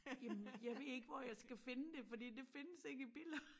Jamen jeg ved ikke hvor jeg skal finde det fordi det findes ikke i Billund